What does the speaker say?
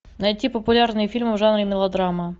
найти популярные фильмы в жанре мелодрама